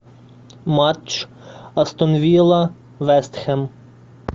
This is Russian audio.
матч астон вилла вест хэм